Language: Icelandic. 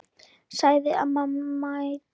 sagði amma mædd.